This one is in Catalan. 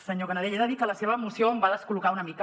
senyor canadell he de dir que la seva moció em va descol·locar una mica